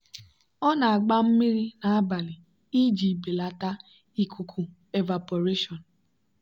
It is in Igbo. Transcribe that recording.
ọ na-agba mmiri n'abalị iji belata ikuku evaporation.